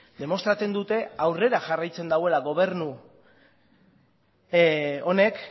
demostratzen dute aurrera jarraitzen duela gobernu honek